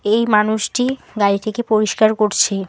এই মানুষটি গাড়িটিকে পরিষ্কার করছে।